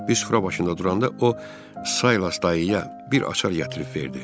Bir süfrə başında duranda o Saylas dayıya bir açar gətirib verdi.